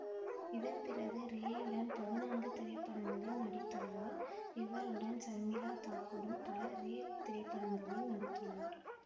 இதன்பிறகு ரேயுடன் பதினான்கு திரைப்படங்களில் நடித்துள்ளார் இவருடன் சர்மிளா தாகூரும் பல ரே திரைப்படங்களில் நடித்துள்ளார்